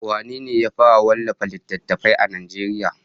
Wane ne ya fara wallafa littafi a Najeriya?